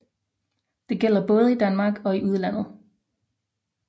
Det gælder både i Danmark og i udlandet